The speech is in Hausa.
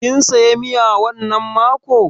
Kin saya miya wannan mako?